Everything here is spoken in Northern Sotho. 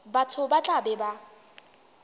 batho ba tla be ba